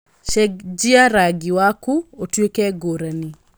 cenjia rangi waku ũtuĩke ngũrani